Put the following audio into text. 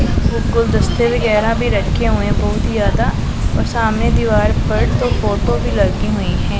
गुलदस्ते वगैरा भी रखे हुए है बहोत ही ज्यादा और सामने दीवार पर तो फोटो भी लगी हुई है।